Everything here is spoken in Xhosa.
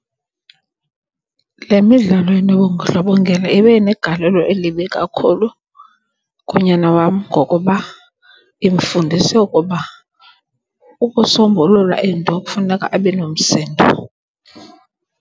Le midlalo enobundlobongela ibe negalelo elibi kakhulu kunyana wam ngokuba imfundise ukuba ukusombulula into kufuneka abe nomsindo.